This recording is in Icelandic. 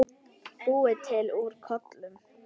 Búið til úr kolum!